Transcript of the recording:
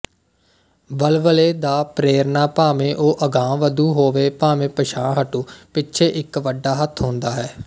ਵਲਵਲੇ ਦਾ ਪ੍ਰੇਰਨਾ ਭਾਵੇਂ ਉਹ ਅਗਾਂਹਵਧੂ ਹੋਵੇ ਭਾਵੇਂ ਪਿਛਾਂਹਹਟੂ ਪਿੱਛੇ ਇੱਕ ਵੱਡਾ ਹੱਥ ਹੁੰਦਾ ਹੈ